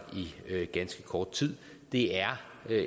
i ganske kort tid det er